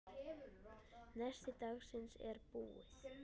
Nesti dagsins er búið.